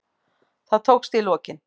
Það tókst í lokin.